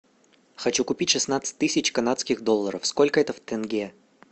хочу купить шестнадцать тысяч канадских долларов сколько это в тенге